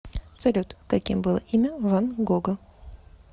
салют каким было имя ван гога